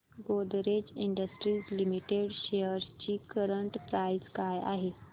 Godrej industries limited shares ची current price काय आहे